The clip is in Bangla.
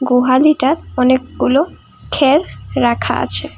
গুহালিটা অনেকগুলো খের রাখা আছে।